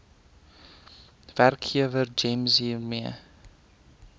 werkgewer gems hiermee